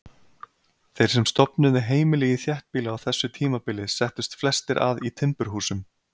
Þeir sem stofnuðu heimili í þéttbýli á þessu tímabili settust flestir að í timburhúsum.